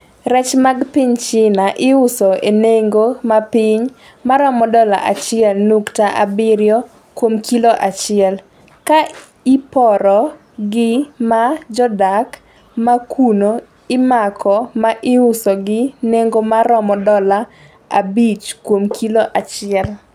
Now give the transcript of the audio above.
Rech mag piny China iuso e nengo ma piny ma romo dola achiel nyukta abirio kuom kilo achiel, ka iporo gi ma jodak ma kuno imako ma iuso gi nengo ma romo dola 5 kuom kilo achiel.